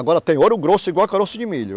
Agora tem ouro grosso igual caroço de milho.